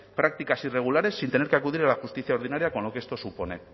prácticas irregulares sin tener que acudir a la justicia ordinaria con lo que esto supone